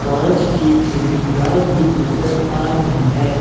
कांच की खिड़कियां भी नजर आ रही है।